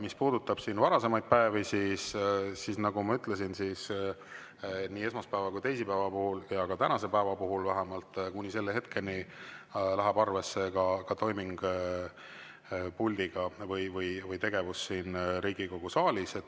Mis puudutab varasemaid päevi, siis nagu ma ütlesin, nii esmaspäeva kui ka teisipäeva puhul ja ka tänase päeva puhul, vähemalt kuni selle hetkeni, läheb arvesse ka toiming puldiga või tegevus siin Riigikogu saalis.